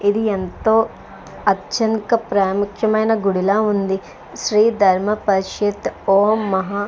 ఇది ఎంతో అచ్చంక ప్రాముఖ్యమైన గుడిలా ఉంది. శ్రీ ధర్మ పరిషత్ ఓం మహా --